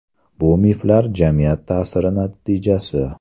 Bu miflar jamiyat ta’siri natijasi.